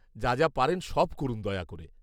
যা যা পারেন সব করুন দয়া করে।